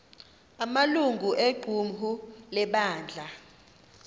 amalungu equmrhu lebandla